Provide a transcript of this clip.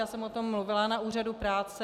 Já jsem o tom mluvila na úřadu práce.